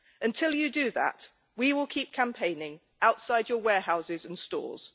Until you do that, we will keep campaigning outside your warehouses and stores.